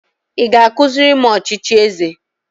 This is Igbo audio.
Ị ga-akụziri m ọchịchị eze?